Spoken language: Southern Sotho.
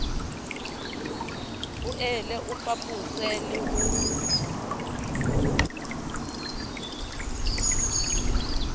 boele o fapose le ho